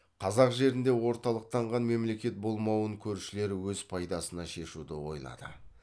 қазақ жерінде орталықтанған мемлекет болмауын көршілері өз пайдасына шешуді ойлады